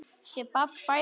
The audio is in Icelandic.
Sé barn fæðast.